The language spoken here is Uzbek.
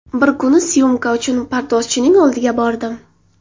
Bir kuni syomka uchun pardozchining oldiga bordim.